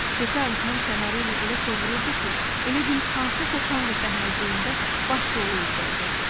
Pipeti ağzının kənarı ilə elə sovururdu ki, elə bil hansısa tanqo səhnəciyində baş rolu ifa edirdi.